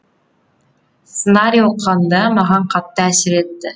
сценарий оқығанда маған қатты әсер етті